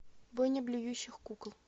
бойня блюющих кукол